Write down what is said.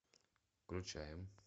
включаем